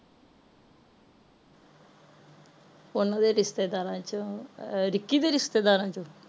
ਓਹਨਾ ਦੇ ਰਿਸ਼ਤੇਦਾਰਾਂ ਚੋ ਅਹ ਰਿੱਕੀ ਦੇ ਰਿਸ਼ਤੇਦਾਰਾਂ ਚੋ